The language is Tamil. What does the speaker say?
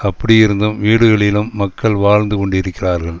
அப்படியிருந்தும் வீடுகளிலும் மக்கள் வாழ்ந்து கொண்டிருக்கிறார்கள்